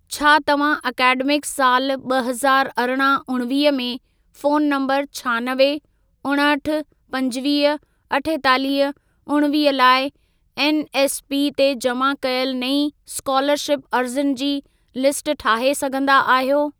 छा तव्हां एकेडमिक साल ॿ हज़ारु अरिड़हं उणिवीह में, फोन नंबर छ्हानवे, उणहठि, पंजवीह, अठेतालीह, उणिवीह लाइ एनएसपी ते जमा कयल नईं स्कोलरशिप अर्ज़ियुनि जी लिस्ट ठाहे सघंदा आहियो?